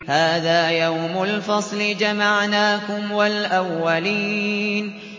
هَٰذَا يَوْمُ الْفَصْلِ ۖ جَمَعْنَاكُمْ وَالْأَوَّلِينَ